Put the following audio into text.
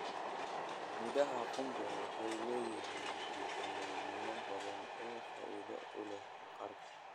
Midhaha qumbe waxay leeyihiin fiitamiinno badan oo faa'iido u leh maqaarka.